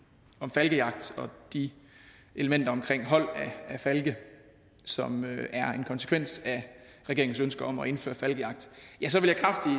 falkejagt og de elementer omkring hold af falke som er en konsekvens af regeringens ønske om at indføre falkejagt